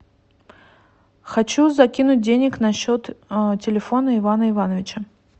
хочу закинуть денег на счет телефона ивана ивановича